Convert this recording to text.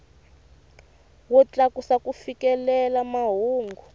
wo tlakusa ku fikelela mahungu